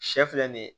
Sɛ filɛ nin ye